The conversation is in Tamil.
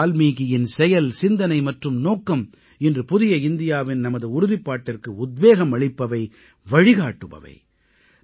மஹரிஷி வால்மீகியின் செயல் சிந்தனை மற்றும் நோக்கம் இன்று புதிய இந்தியாவின் நமது உறுதிப்பாட்டிற்கு உத்வேகம் அளிப்பவை வழிகாட்டுபவை